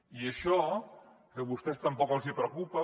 i això que a vostès tampoc els preocupa